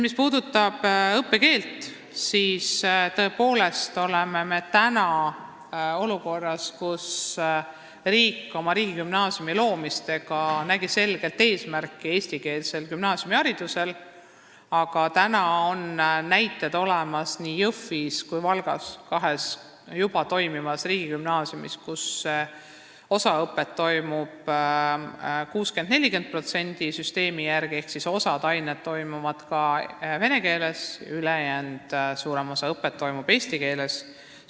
Mis puudutab õppekeelt, siis me oleme täna jätkuvalt olukorras, kus riik riigigümnaasiumide loomisega nägi eesmärgina selgelt eestikeelset gümnaasiumiharidust, aga näited on täna olemas nii Jõhvis kui ka Valgas, kahes juba toimivas riigigümnaasiumis, kus osa õpet toimub süsteemi 60 : 40 järgi ehk osa aineid õpitakse vene keeles, suurem osa õppest toimub eesti keeles.